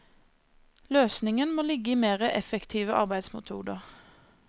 Løsningen må ligge i mer effektive arbeidsmetoder.